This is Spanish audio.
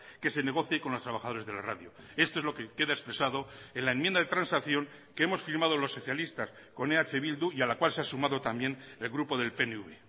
que se negocie con los trabajadores de la radio esto es lo que queda expresado en la enmienda de transacción que hemos firmado los socialistas con eh bildu y a la cual se ha sumado también el grupo del pnv